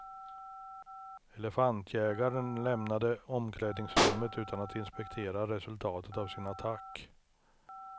Elefantjägarn lämnade omklädningsrummet utan att inspektera resultatet av sin attack.